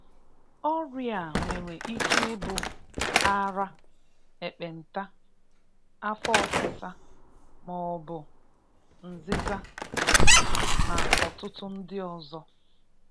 Ọrịa a nwere ike ịbụ: ara, ekpenta (Leprosy), afọ ọsịsa ma ọbụ nzịza (Dropsy) na ọtụtụ ndị ọzọ.